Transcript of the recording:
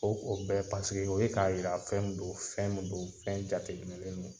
O ko bɛɛ paseke o ye k'a yira fɛn min do fɛn min do fɛn jateminɛlen do.